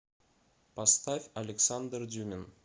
поставь александр дюмин